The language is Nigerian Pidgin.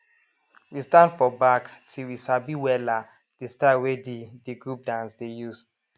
we stand for back till we sabi wella de style wey de the group dance dey use